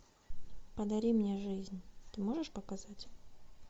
подари мне жизнь ты можешь показать